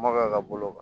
Maka ka bolo kan